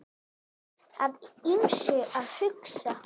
Að ýmsu að huga